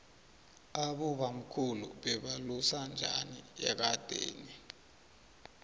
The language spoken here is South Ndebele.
abobamkhulu bebalusa njani ekadeni